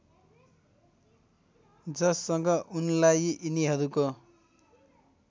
जससँग उनलाई यिनीहरूको